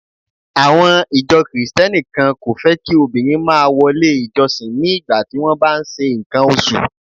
Àwọn ìjọ Kristẹni kan kò fẹ́ kí obìnrin máa wọlé ìjọsìn ní ìgbà tí wón ń bá ṣe ǹkan oṣù.